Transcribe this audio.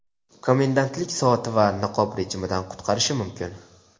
komendantlik soati va niqob rejimidan qutqarishi mumkin.